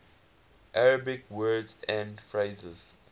arabic words and phrases